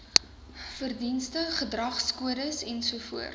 verdienste gedragskodes ens